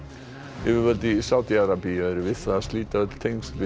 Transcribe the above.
yfirvöld í Sádi Arabíu eru við það að slíta öll tengsl við